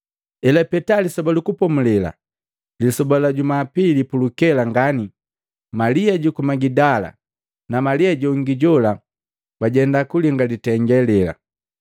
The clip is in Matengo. Elapeta Lisoba lu Kupomulela, lisoba la juma pili pulukela ngani, Malia juku Magidala na Malia jongi jola bajenda kulinga litenge lela.